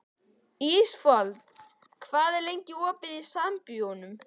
Ísafold, hvað er lengi opið í Sambíóunum?